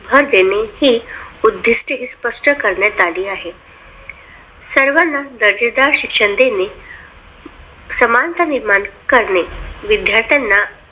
भर देणे ही उद्दिष्टे स्पष्ट करण्यात आली आहे. सर्वांना दर्जेदार शिक्षण देणे समानता निर्माण करणे विद्यार्थ्यांना